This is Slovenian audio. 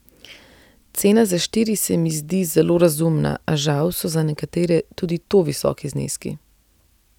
Cena za štiri se mi zdi zelo razumna, a žal so za nekatere tudi to visoki zneski.